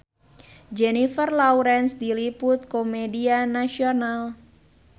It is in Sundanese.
Jennifer Lawrence diliput ku media nasional